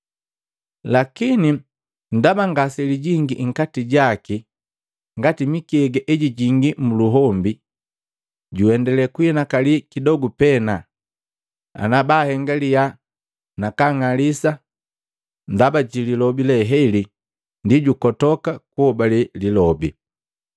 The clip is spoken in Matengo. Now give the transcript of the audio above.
Lakini ndaba ngaselijingii nkati jaki ngati mikega ejijingi muluhombi, juendale kuhinakali kidogu pena ana bahengi liyaha nakaang'alisa ndaba ji lilobi le heli, ndi jukotoka kuhobale lilobi.